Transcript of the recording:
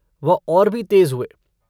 वह और भी तेज हुए।